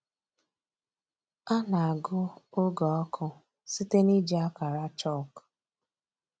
A na-agụ oge ọkụ site n’iji akara chalk.